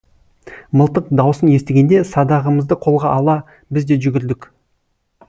мылтық даусын естігенде садағымызды қолға ала біз де жүгірдік